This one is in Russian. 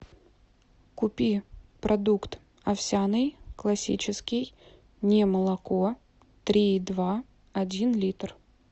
купи продукт овсяный классический немолоко три и два один литр